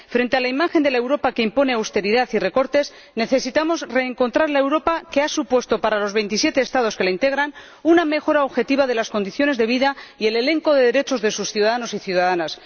Frente a la imagen de la Europa que impone austeridad y recortes, necesitamos reencontrar la Europa que ha supuesto para los 27 Estados que la integran una mejora objetiva de las condiciones de vida y el elenco de derechos de sus ciudadanos y ciudadanas.